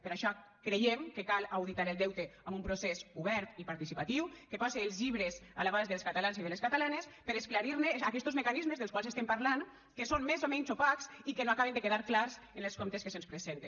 per això creiem que cal auditar el deute amb un procés obert i participatiu que pose els llibres a l’abast dels catalans i de les catalanes per esclarir ne aquestos mecanismes dels quals estem parlant que són més o menys opacs i que no acaben de quedar clars en els comptes que se’ns presenten